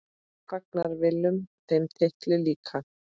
Fagnar Willum þeim titli líka?